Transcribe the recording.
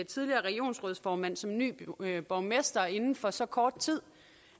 tidligere regionsrådsformand som ny borgmester inden for så kort tid